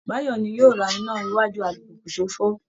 Báyọ̀ ni yóò lọ ra iná iwájú alùpùpù tó fọ́